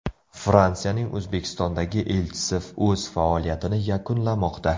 Fransiyaning O‘zbekistondagi elchisi o‘z faoliyatini yakunlamoqda.